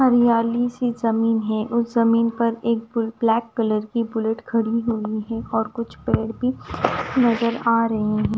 हरियाली सी जमीन है उस जमीन पर एक ब्लैक कलर की बुलेट खड़ी हुई है और कुछ पेड़ भी नजर आ रहे हैं।